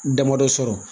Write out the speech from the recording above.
Damadɔ sɔrɔ